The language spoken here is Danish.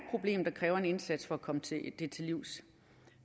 problem der kræver en indsats at komme til livs og